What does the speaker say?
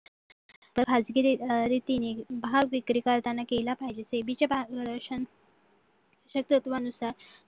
तर खाजगी रीतीने भाग विक्री करताना केला पाहिजे सेवेच्या मार्गदर्शक तत्त्वानुसार